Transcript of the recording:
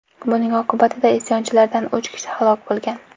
Buning oqibatida isyonchilardan uch kishi halok bo‘lgan.